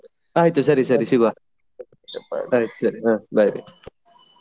ಆಯ್ತು ಸರಿ ಸರಿ ಸಿಗುವ bye .